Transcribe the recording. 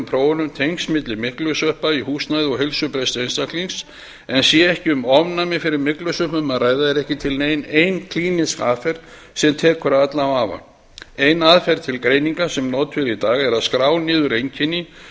prófunum tengsl milli myglusveppa í húsnæði og heilsubrests einstaklings en sé ekki um ofnæmi fyrir myglusveppum að ræða er ekki til nein ein klínísk aðferð sem tekur af allan vafa ein aðferð til greiningar sem notuð er í dag er að skrá niður einkenni